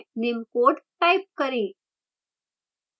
निम्न code type करें